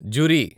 జురి